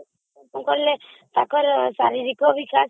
ମୁଁ କହିଲି ଯେ ତାଙ୍କର ଶାରୀରିକ ବିକାଶ